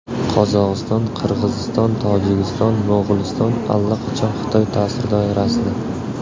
Qozog‘iston, Qirg‘iziston, Tojikiston, Mo‘g‘uliston allaqachon Xitoy ta’sir doirasida.